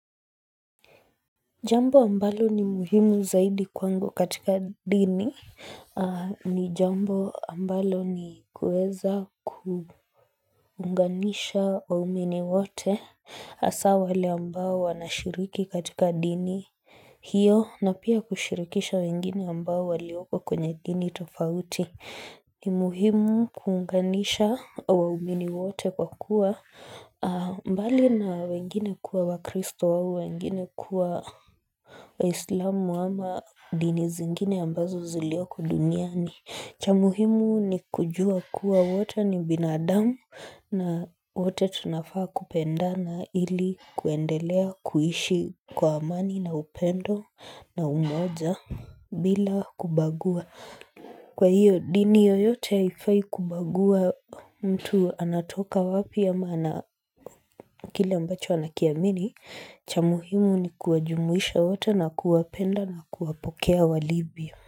Jambo ambalo ni muhimu zaidi kwangu katika dini ni jambo ambalo ni kuweza kuunganisha waumini wote hasa wale ambao wanashiriki katika dini hiyo na pia kushirikisha wengine ambao waliopo kwenye dini tofauti ni muhimu kuunganisha waumini wote kwa kuwa bali na wengine kuwa wakristo wengine kuwa waislamu ama dini zingine ambazo zilioko duniani cha muhimu ni kujua kuwa wote ni binadamu na wote tunafaa kupendana ili kuendelea kuishi kwa amani na upendo na umoja bila kubagua Kwa hiyo dini yoyote haifai kubagua mtu anatoka wapi ama kile ambacho anakiamini cha muhimu ni kuwajumuisha wote na kuwapenda na kuwapokea walivyo.